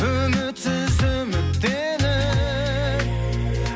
үмітсіз үміттеніп